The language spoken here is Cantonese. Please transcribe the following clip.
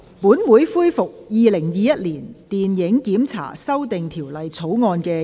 本會恢復《2021年電影檢查條例草案》的二讀辯論。